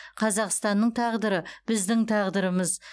қазақстанның тағдыры біздің тағдырымыз